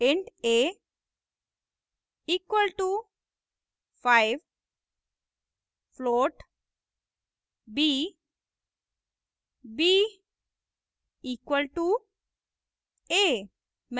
int a equal to 5